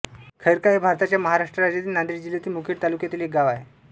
खैरका हे भारताच्या महाराष्ट्र राज्यातील नांदेड जिल्ह्यातील मुखेड तालुक्यातील एक गाव आहे